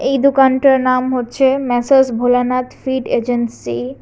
এই দোকানটার নাম হচ্ছে ম্যাসাজ ভোলানাথ ফিড এজেন্সি ।